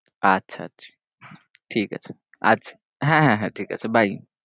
আচ্ছা আচ্ছা ঠিকাছে আচ্ছা হ্যাঁ হ্যাঁ ঠিকাছে bye